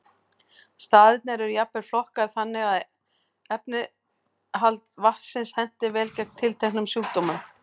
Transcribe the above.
Staðirnir eru jafnvel flokkaðir þannig að efnainnihald vatnsins henti vel gegn tilteknum sjúkdómum.